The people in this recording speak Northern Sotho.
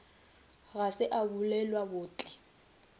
ga se a bulelwa bohle